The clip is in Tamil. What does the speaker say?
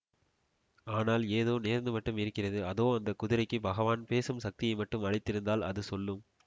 ஆனால் ஏதோ நேர்ந்து மட்டும் இருக்கிறது அதோ அந்த குதிரைக்கு பகவான் பேசும் சக்தியை மட்டும் அளித்திருந்தால் அது சொல்லும்